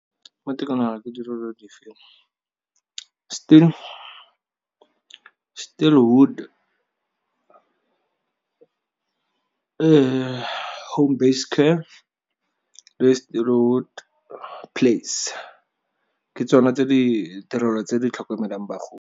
Mo tikologong ya gago, ditirelo dife Still Wood home based care le Still Wood Place, ke tsone ditirelo tse di tlhokomelang bagodi.